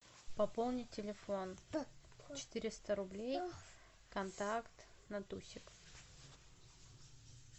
пополнить телефон четыреста рублей контакт натусик